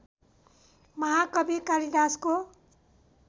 महाकवि कालिदासको